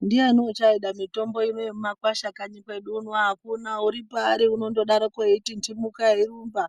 Ndiyani uchaida mitombo ino yemumakwasha kanyi kwedu uno hakuna. Uri paari unondodaroko eitiinhimuka eirumba